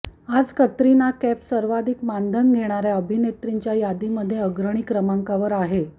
आज कतरिना कैफ सर्वाधिक मानधन घेणाऱ्या अभिनेत्रींच्या यादीमध्ये अग्रणी क्रमांकावर आहे